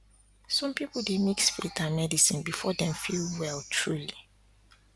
some people dey mix faith and medicine before dem feel truly well